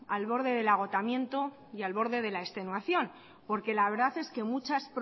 al borde del agotamiento y al borde de la extenuación porque la verdad es que muchas